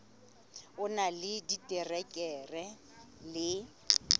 o na le diterekere le